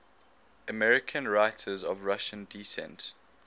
american writers of russian descent